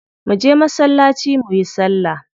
Mu je masallaci muyi salla.